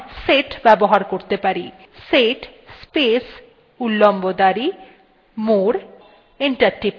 set space উল্লম্ব দাঁড়ি more এবং enter টিপুন